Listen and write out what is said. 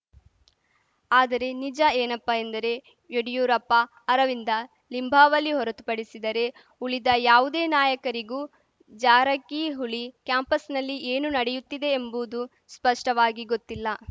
ಆದರೆ ನಿಜ ಏನಪ್ಪ ಎಂದರೆ ಯಡಿಯೂರಪ್ಪ ಅರವಿಂದ ಲಿಂಬಾವಳಿ ಹೊರತು ಪಡಿಸಿದರೆ ಉಳಿದ ಯಾವುದೇ ನಾಯಕರಿಗೂ ಜಾರಕಿಹೊಳಿ ಕ್ಯಾಂಪಸ್ ನಲ್ಲಿ ಏನು ನಡೆಯುತ್ತಿದೆ ಎಂಬುದು ಸ್ಪಷ್ಟವಾಗಿ ಗೊತ್ತಿಲ್ಲ